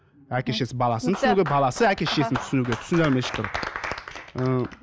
әке шешесі баласын түсінуге баласы әке шешесін түсінуге түсіндіре алмайды ешкім ыыы